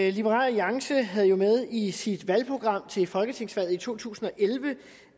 i liberal alliance er havde jo med i sit valgprogram til folketingsvalget i to tusind og elleve